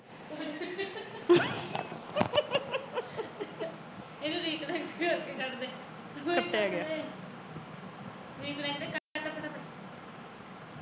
ਕੱਟਿਆ ਗਿਆ